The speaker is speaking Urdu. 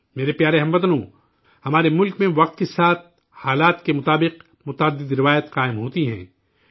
میرے پیارے ہم وطنو، ہمارے ملک میں وقت کے ساتھ، حالات کے مطابق، متعدد روایات پروان چڑھی ہیں